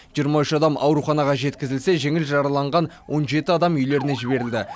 жиырма үш адам ауруханаға жеткізілсе жеңіл жараланған он жеті адам үйлеріне жіберілді